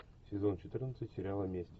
сезон четырнадцать сериала месть